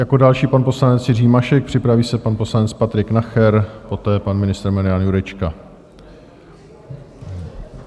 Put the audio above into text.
Jako další pan poslanec Jiří Mašek, připraví se pan poslanec Patrik Nacher, poté pan ministr Marian Jurečka.